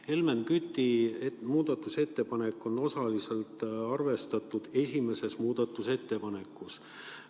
Helmen Küti muudatusettepanek on osaliselt arvestatud esimeses muudatusettepanekus.